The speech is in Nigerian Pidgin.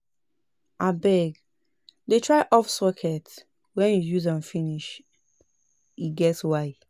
If soap fall inside toilet, e go block di pipe. Make you dey careful.